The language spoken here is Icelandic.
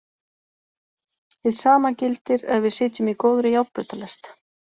Hið sama gildir ef við sitjum í góðri járnbrautarlest.